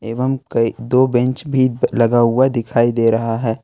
एवं कई दो बैंच भी लगा हुआ दिखाई दे रहा है।